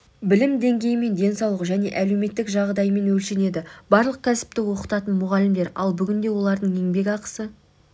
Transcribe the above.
білім деңгейімен денсаулық және әлеуметтік жағдайымен өлшенеді барлық кәсіпті оқытатын мұғалімдер ал бүгінде олардың еңбекақысы